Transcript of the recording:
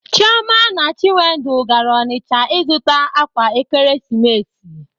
Chịọma na Chinwendụ gaara Ọnịcha ịzụta ákwà Ekeresimesi.